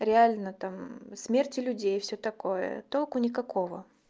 реально там смерти людей и всё такое толку никакого